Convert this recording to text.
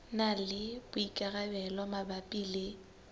na le boikarabelo mabapi le